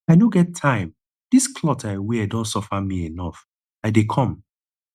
i no get time dis cloth i wear don suffer me enough i dey come